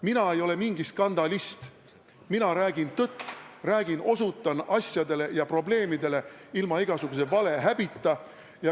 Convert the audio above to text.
Mina ei ole mingi skandalist, mina räägin tõtt, osutan asjadele ja probleemidele ilma igasuguse valehäbita.